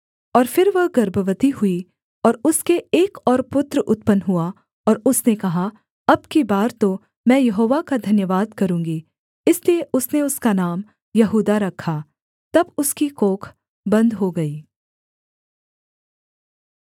और फिर वह गर्भवती हुई और उसके एक और पुत्र उत्पन्न हुआ और उसने कहा अब की बार तो मैं यहोवा का धन्यवाद करूँगी इसलिए उसने उसका नाम यहूदा रखा तब उसकी कोख बन्द हो गई